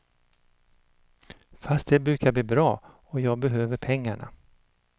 Fast det brukar bli bra, och jag behöver pengarna.